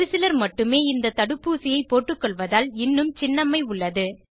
ஒரு சிலர் மட்டுமே இந்த தடுப்பூசியை போட்டுக்கொள்வதால் இன்னும் சின்னம்மை உள்ளது